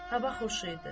Hava xoş idi.